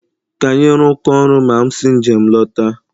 Ka anyị rụkọọ ọrụ ma m si njem lọta